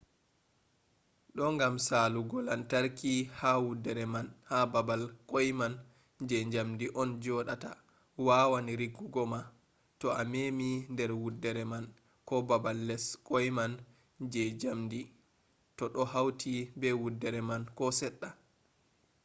do gam salugo lantarki ha wuddere man ha babal kwai man je jamdi on jodata wawan riggugo ma to a memi der wuddere man ko babal les kwai man je jamdi to do hauti be wuddere man ko sedda